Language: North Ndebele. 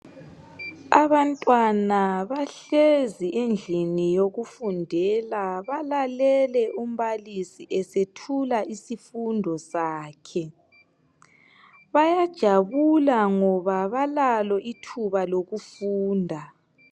Abantwana bahlezi endlini yokufundela balalele umbalisi esethula isifundo sakhe bayajabula ngoba balalo ithuba lokufunda.